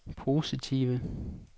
positive